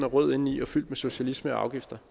rød indeni og fyldt med socialisme og afgifter